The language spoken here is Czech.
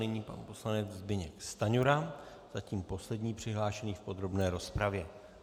Nyní pan poslanec Zbyněk Stanjura, zatím poslední přihlášený v podrobné rozpravě.